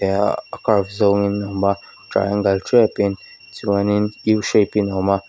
nia a curve zawngin a awm a triangle tepin chuanin u shape in awm a.